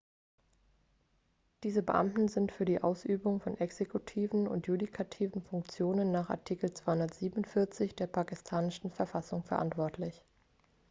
diese beamten sind für die ausübung von exekutiven und judikativen funktionen nach artikel 247 der pakistanischen verfassung verantwortlich